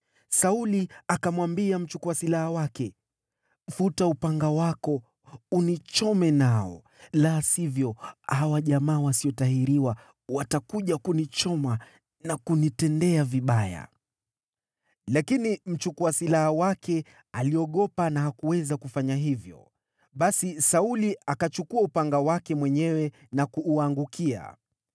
Sauli akamwambia mbeba silaha wake, “Futa upanga wako unichome nao, la sivyo hawa watu wasiotahiriwa watakuja wanichome na kunidhalilisha.” Lakini mbeba silaha wake akaogopa sana wala hakuweza kufanya hivyo. Kwa hiyo Sauli akachukua upanga wake mwenyewe na kuuangukia.